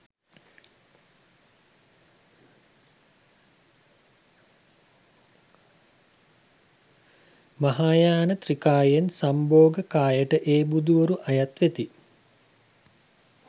මහායාන ත්‍රිකායෙන් සම්භෝගකායට ඒ බුදුවරු අයත් වෙති.